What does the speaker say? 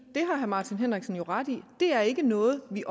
det har herre martin henriksen jo ret i det er ikke noget vi